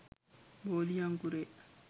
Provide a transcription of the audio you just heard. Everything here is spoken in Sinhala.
බෝධි අංකුරය